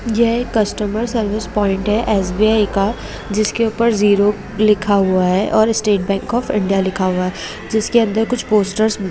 यह एक customer service point है एस.बी.आई का जिसके ऊपर जीरो लिखा हुआ है और स्टेट बैंक ऑफ इंडिया लिखा हुआ है जिसके अंदर कुछ पोस्टर्स --